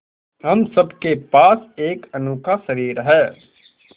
हम सब के पास एक अनोखा शरीर है